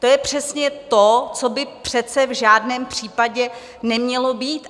To je přesně to, co by přece v žádném případě nemělo být.